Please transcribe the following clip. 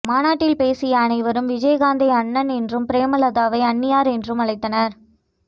மாநாட்டில் பேசிய அனைவரும் விஜயகாந்தை அண்ணன் என்றும் பிரேமலதாவை அண்ணியார் என்றும் அழைத்தனர்